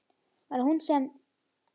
Var það hún sem.?